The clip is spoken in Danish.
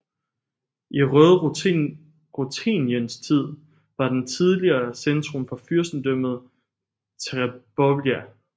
I Røde Rutheniens tid var den tidligere centrum for fyrstendømmet Terebovlja